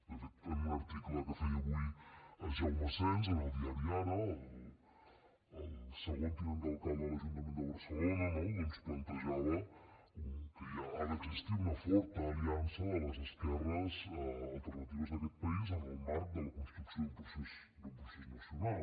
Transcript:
de fet en un article que feia avui jaume asens en el diari ara el tercer tinent d’alcalde de l’ajuntament de barcelona plantejava que ha d’existir una forta aliança de les esquerres alternatives d’aquest país en el marc de la construcció d’un procés nacional